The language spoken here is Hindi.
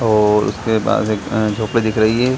और उसके बाद एक अ झोपड़ी दिख रही है।